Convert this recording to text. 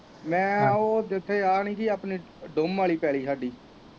ਮੈਂ ਉਹ ਜਿੱਥੇ ਆ ਨੀ ਗੀ ਆਪਣੀ ਦੋਮ ਵਾਲੀ ਪੈਲ਼ੀ ਸਾਡੀ।